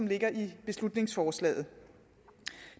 ligger i beslutningsforslaget